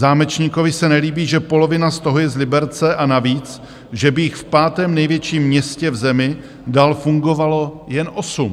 Zámečníkovi se nelíbí, že polovina z toho je z Liberce, a navíc že by jich v pátém největším městě v zemi dál fungovalo jen osm.